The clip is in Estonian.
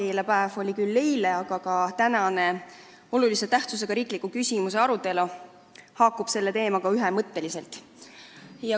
Emakeelepäev oli küll eile, aga tänane olulise tähtsusega riikliku küsimuse arutelu haakub selle teemaga ühemõtteliselt.